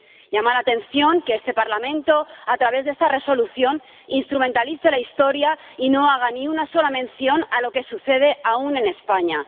Llama la atención que este Parlamento, a través de esta Resolución, instrumentalice la historia y no haga ni una sola mención a lo que sucede aún en España.